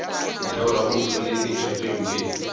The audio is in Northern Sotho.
ntheola o ntlholeletša tše mpe